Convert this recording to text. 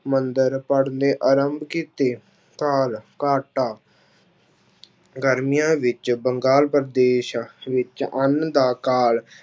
ਮੰਤਰ ਪੜ੍ਹਨੇ ਆਰੰਭ ਕੀਤੇ, ਕਾਲ ਘਾਟਾ ਗਰਮੀਆਂ ਵਿੱਚ ਬੰਗਾਲ ਪ੍ਰਦੇਸ਼ ਵਿੱਚ ਅੰਨ ਦਾ ਕਾਲ